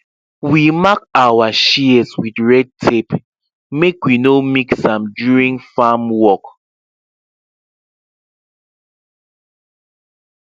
we mark our shears with red tape make we no mix am during farm work